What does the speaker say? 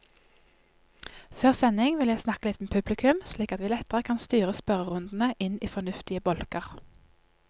Før sending vil jeg snakke litt med publikum, slik at vi lettere kan styre spørrerundene inn i fornuftige bolker.